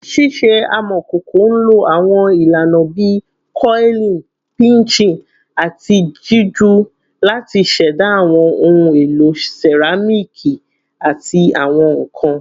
Ṣiṣe amọkoko nlo awọn ilana bii coiling, pinching, ati jiju lati ṣẹda awọn ohun elo seramiki ati awọn nkan